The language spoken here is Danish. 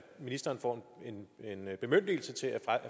ministeren får en bemyndigelse til at